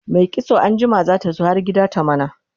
Mai kitso anjima zata zo har gida ta mana